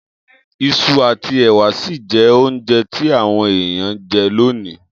Isu àtí èwà si n je ounje ti àwon èyàn n je lonìí